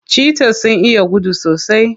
Cheaters sun iya gudu sosai.